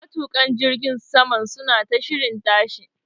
Matuƙan jirgin saman suna ta shirin tashi.